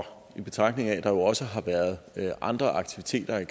i betragtning af at der jo også har været andre aktiviteter af